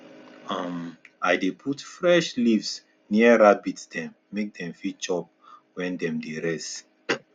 um i dey put fresh leaves near rabbit dem make dem fit chop when dem dey rest